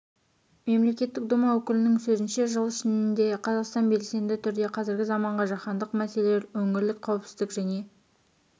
мемлекеттік дума өкілінің сөзінше жыл ішінде қазақстан белсенді түрде қазіргі заманғы жаһандық мәселелер өңірлік қауіпсіздік және